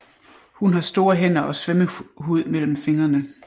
Hun har store hænder og svømmehud mellem fingrene